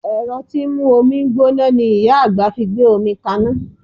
Ẹ̀rọ tí ń mú omi gbóná ni Ìyá àgbà fi gbé omi kaná